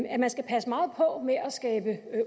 at man skal passe meget på med at skabe